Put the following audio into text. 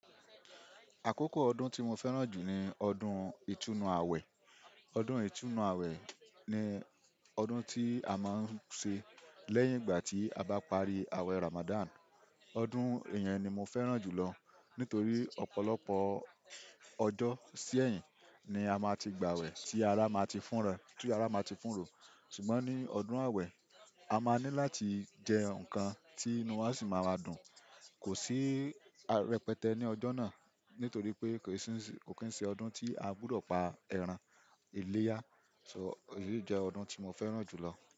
Àkókò ọdún tí mo fẹ́ràn jù ni ọdún ìtúnnu àwẹ̀. Ọdún ìtúnnu àwẹ̀ ni ọdún tí a máa ń ṣe lẹ́yìn ìgbà tí a bá parí àwẹ̀ Ramadan. Ọdún iyẹn ni mo fẹ́ràn jù lọ nítorí ọ̀pọ̀lọpọ̀ ọjọ́ sí ẹ̀yìn ni a máa ti gba àwẹ̀ tí ara máa ti fún ra, tí ara máa ti fún rò. Ṣùgbọ́n ní ọdún àwẹ̀, a máa ní láti jẹ nǹkan tí inú wa sì máa wà dùn. Kò sí rẹpẹtẹ ní ọjọ́ náà nítorí pé kò kín ṣe ọdún tí a gbúdọ̀ pa ẹran iléyá. Èyí jẹ́ ọdún tí mo fẹ́ràn jù lọ.